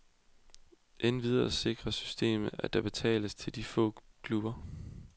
Endvidere sikrer systemet, at der betales til de små klubber.